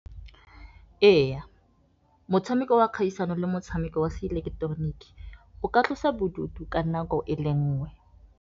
Ee, motshameko wa kgaisano le motshameko wa se ileketoroniki, o ka tlosa bodutu ka nako e le nngwe.